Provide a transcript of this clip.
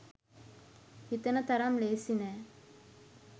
හිතන තරම් ලේසි නෑ